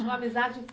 Uma amizade